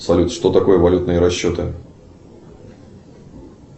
салют что такое валютные расчеты